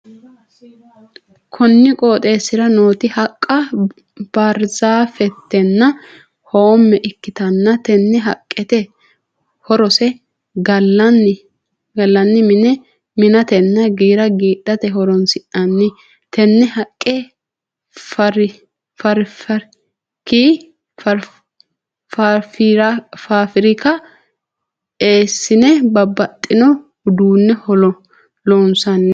Konni qooxeesira nooti haqa baarzaafetenna hoome ikitanna tenne haqenniti horose galanni mine mi'natenna giira giidhate horoonsi'nanni. Tenne haqe faafirika eesine babbaxino uduune loonsanni.